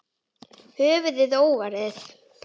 Höfuðið óvarið.